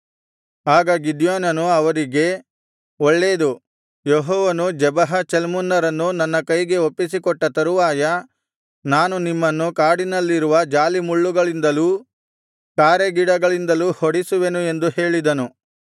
ಆಗ ಗಿದ್ಯೋನನು ಅವರಿಗೆ ಒಳ್ಳೇದು ಯೆಹೋವನು ಜೆಬಹ ಚಲ್ಮುನ್ನರನ್ನು ನನ್ನ ಕೈಗೆ ಒಪ್ಪಿಸಿಕೊಟ್ಟ ತರುವಾಯ ನಾನು ನಿಮ್ಮನ್ನು ಕಾಡಿನಲ್ಲಿರುವ ಜಾಲಿಮುಳ್ಳುಗಳಿಂದಲೂ ಕಾರೆಗಿಡಗಳಿಂದಲೂ ಹೊಡಿಸುವೆನು ಎಂದು ಹೇಳಿದನು